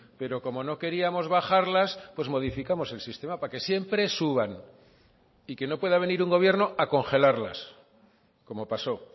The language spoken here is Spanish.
pero como no queríamos bajarlas pues modificamos el sistema para que siempre suban y que no pueda venir un gobierno a congelarlas como pasó